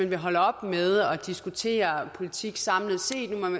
vil holde op med at diskutere politik samlet set